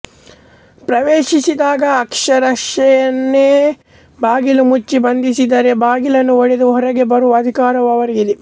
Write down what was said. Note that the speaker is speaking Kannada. ಪ್ರವೇಶಿಸಿದಾಗ ಆರಕ್ಷಕರನ್ನೇ ಬಾಗಿಲು ಮುಚ್ಚಿ ಬಂಧಿಸಿದರೆ ಬಾಗಿಲನ್ನು ಒಡೆದು ಹೊರಗೆ ಬರುವ ಅಧಿಕಾರವೂ ಅವರಿಗಿದೆ